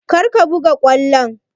Kar ka buga ƙwallon!